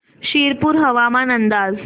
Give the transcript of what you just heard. शिरपूर हवामान अंदाज